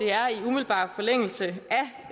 er i umiddelbar forlængelse